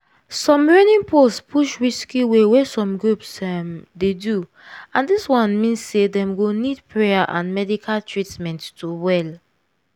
some reigning post push risky way wey some groups um dey do and dis one mean sey dem go nid prayer and medical treatment to well.